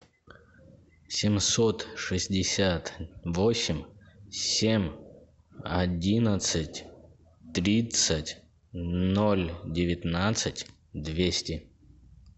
семьсот шестьдесят восемь семь одиннадцать тридцать ноль девятнадцать двести